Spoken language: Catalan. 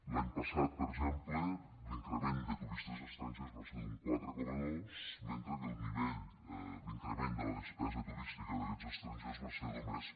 l’any passat per exemple l’increment de turistes estrangers va ser d’un quatre coma dos mentre que l’increment de la despesa turística d’aquests estrangers va ser només